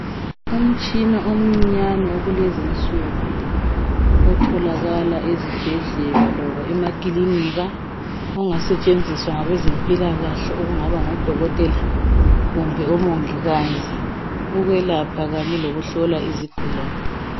Umtshina omcinyane wakulezi insuku otholakala ezibhedlela loba emakilinika ongasetshenziswa ngabezempilakahle ukungaba ngodokotela kumbe omongikazi ukwelapha kanye lokuhlola izigulane.